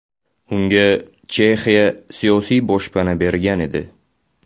Unga Chexiya siyosiy boshpana bergan edi.